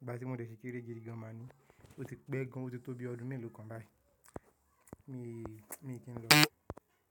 ìgbà tí mo dẹ̀ ṣì kérẹ́ gídigan ma ni. Ó ti pẹ́ gan, ó ti tó bi ọdún mélòó kan báyìí, mí i Mi kí ń lọ.